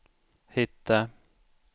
hitta